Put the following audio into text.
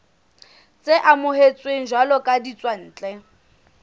tse amohetsweng jwalo ka ditswantle